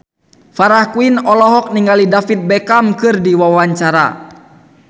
Farah Quinn olohok ningali David Beckham keur diwawancara